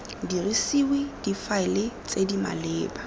dirisiwe difaele tse di maleba